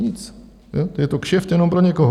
Nic, je to kšeft jenom pro někoho.